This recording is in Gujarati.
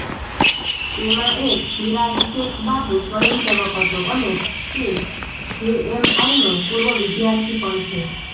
તેમાં એક શિરાજ શેખ બાબુ સ્વયંસેવક હતો અને તે જેએમઆઈનો પૂર્વ વિદ્યાર્થી પણ છે